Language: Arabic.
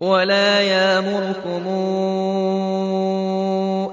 وَلَا يَأْمُرَكُمْ